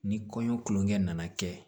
Ni kɔɲɔ tulonkɛ nana kɛ